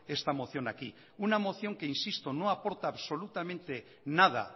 esta moción aquí una moción que insisto no aporta absolutamente nada